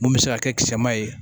Mun bɛ se ka kɛ kisɛma ye